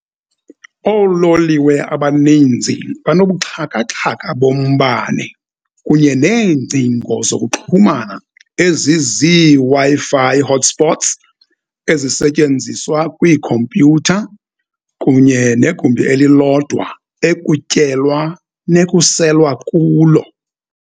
Oololiwe abaninzi banobuxhakaxhaka bombane kunye neengcingo zokuxhumana ezizii-Wi-Fi hotspots ezisetyenziswa kwiikhompyutha, kunye negumbi elilodwa ekutyelwa nekuselwa kulo.